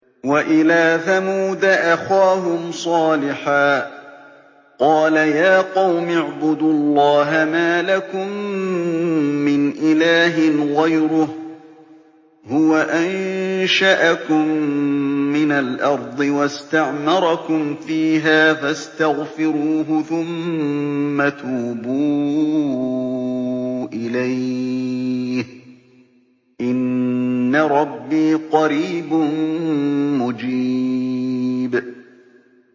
۞ وَإِلَىٰ ثَمُودَ أَخَاهُمْ صَالِحًا ۚ قَالَ يَا قَوْمِ اعْبُدُوا اللَّهَ مَا لَكُم مِّنْ إِلَٰهٍ غَيْرُهُ ۖ هُوَ أَنشَأَكُم مِّنَ الْأَرْضِ وَاسْتَعْمَرَكُمْ فِيهَا فَاسْتَغْفِرُوهُ ثُمَّ تُوبُوا إِلَيْهِ ۚ إِنَّ رَبِّي قَرِيبٌ مُّجِيبٌ